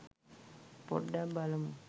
පොඩ්ඩක් බලමු